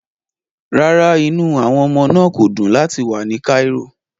Rárá, inú àwọn ọmọ náà kò dùn láti wà ní Cairo